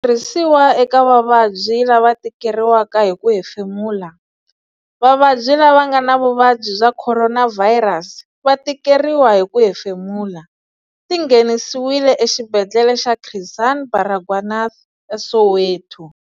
Xitirhisiwa eka vavabyi lava tikeriwaka hi ku hemfemula. Vavabyi lava nga na vuvabyi bya khoronavhayirasi va tikeriwa hi ku hefemula. Ti nghenisiwile Exibedhlele xa Chris Hani Baragwanath eSoweto.